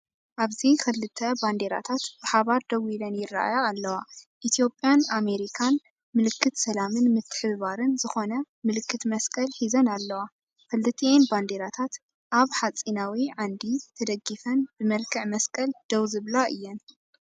ኣብዚ ክልተ ባንዴራታት ብሓባር ደው ኢለን ይረኣያ ኣለዋ። ኢትዮጵያን ኣሜሪካን ምልክት ሰላምን ምትሕብባርን ዝኾነ ምልክት መስቀል ሒዘን ኣለዋ። ክልቲአን ባንዴራታት ኣብ ሓጺናዊ ዓንዲ ተደጊፈን ብመልክዕ መስቀል ደው ዝብላ እየን።